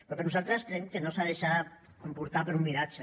però nosaltres creiem que no s’ha de deixar portar per un miratge